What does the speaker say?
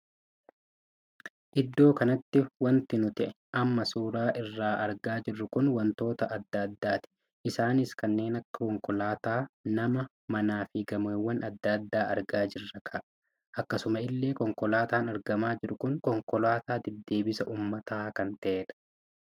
Iddoo kanatti wanti nuti amma suuraa isaa argaa jirru kun wantoota addaa addaati. isaanis kanneen akka konkolaataa, nama, mana fi gamoowwan addaa addaa argaa jirraka. akkasuma illee konkolaataan argamaa jiru kun konkolaataa deddeebisa uummataa kan tahedha.